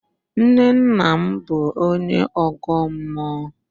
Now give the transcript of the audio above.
Nnenna m bụ onye Ọ̀gọ́ mmụọ.